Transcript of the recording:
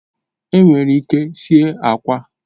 Enwere ike sie akwa